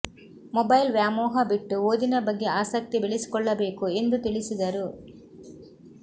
mobile ವ್ಯಾಮೋಹ ಬಿಟ್ಟು ಓದಿನ ಬಗ್ಗೆ ಆಸಕ್ತಿ ಬೆಳೆಸಿಕೊಳ್ಳಬೇಕು ಎಂದು ತಿಳಿಸಿದರು